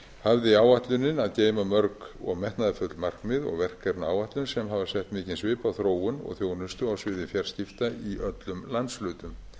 hafði áætlunin að geyma mörg og metnaðarfull markmið og verkefnaáætlun sem hafa sett mikinn svip á þróun og þjónustu á sviði fjarskipta í öllum landshlutum